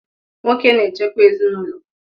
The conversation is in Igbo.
Nwoke na-echekwa ezinụlọ